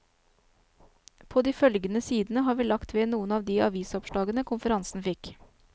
På de følgende sidene har vi lagt ved noen av de avisoppslagene konferansen fikk.